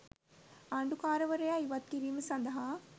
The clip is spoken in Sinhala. ආණ්ඩුකාරවරයා ඉවත් කිරීම සදහා